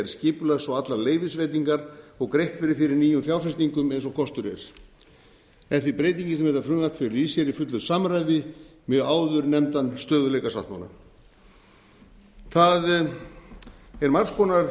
skipulags og allar leyfisveitingar og greitt verði fyrir nýjum fjárfestingum eins og kostur er er því breytingin sem þetta frumvarp felur í sér í fullu samræmi við áðurnefndan stöðugleikasáttmála það er margs konar